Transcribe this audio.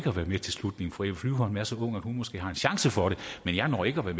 at være med til slutningen fru eva flyvholm er så ung at hun måske har en chance for det men jeg når ikke at være